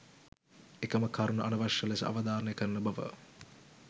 එකම කරුණ අනවශ්‍ය ලෙස අවධාරණය කරන බව